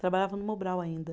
Trabalhava no Mobral ainda.